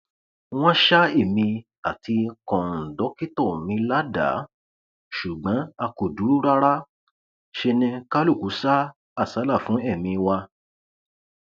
wọn ṣa èmi àti kóńdọkítọ mi ládàá ṣùgbọn a kò dúró rárá ṣe ni kálukú sá àsálà fún ẹmí wa